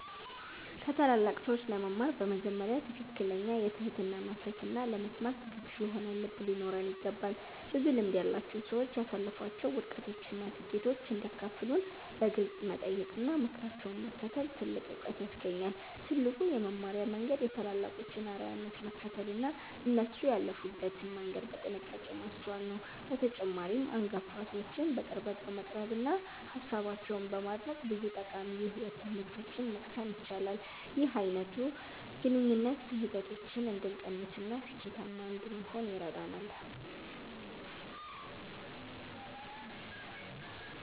ከታላላቅ ሰዎች ለመማር በመጀመሪያ ትክክለኛ የትህትና መንፈስና ለመስማት ዝግጁ የሆነ ልብ ሊኖረን ይገባል። ብዙ ልምድ ያላቸው ሰዎች ያሳለፏቸውን ውድቀቶችና ስኬቶች እንዲያካፍሉን በግልጽ መጠየቅና ምክራቸውን መከተል ትልቅ ዕውቀት ያስገኛል። ትልቁ የመማሪያ መንገድ የታላላቆችን አርአያነት መከተልና እነሱ ያለፉበትን መንገድ በጥንቃቄ ማስተዋል ነው። በተጨማሪም፣ አንጋፋ ሰዎችን በቅርበት በመቅረብና ሃሳባቸውን በማድነቅ ብዙ ጠቃሚ የሕይወት ትምህርቶችን መቅሰም ይቻላል። ይህ አይነቱ ግንኙነት ስህተቶችን እንድንቀንስና ስኬታማ እንድንሆን ይረዳናል።